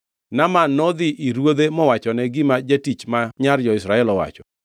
Naaman nodhi ir ruodhe mowachone gima jatich ma nyar jo-Israel owacho.